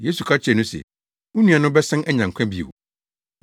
Yesu ka kyerɛɛ no se, “Wo nua no bɛsan anya nkwa bio.”